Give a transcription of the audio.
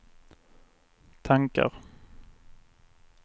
tankar